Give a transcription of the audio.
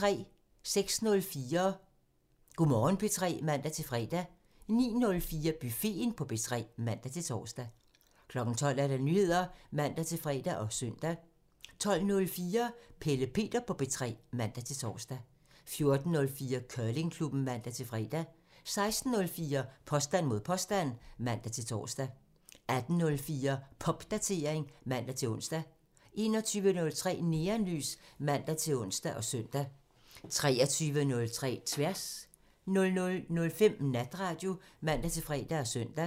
06:04: Go' Morgen P3 (man-fre) 09:04: Buffeten på P3 (man-tor) 12:00: Nyheder (man-fre og søn) 12:04: Pelle Peter på P3 (man-tor) 14:04: Curlingklubben (man-fre) 16:04: Påstand mod påstand (man-tor) 18:04: Popdatering (man-ons) 21:03: Neonlys (man-ons og søn) 23:03: Tværs (man) 00:05: Natradio (man-fre og søn)